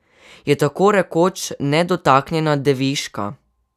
Je tako rekoč nedotaknjena, deviška.